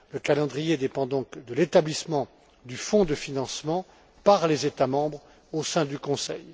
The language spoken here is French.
Le calendrier dépend donc de l'établissement du fonds de financement par les États membres, au sein du Conseil.